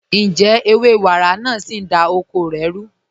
Ǹjẹ̀ ẹwẹ̀ wàrá naà sí ń dá oko rẹ̀ rú?